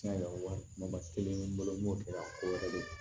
Tiɲɛ yɛrɛ ma kelen bolo n b'o kɛ a ko yɛrɛ de